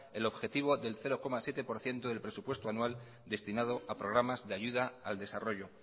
el objetivo del cero coma siete por ciento del presupuesto anual destinado a programas de ayuda al desarrollo